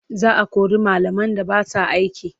Za a kori malaman da ba sa aiki.